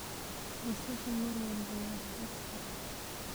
Basasha mar walba waa la heli karaa.